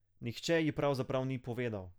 Nihče ji pravzaprav ni povedal.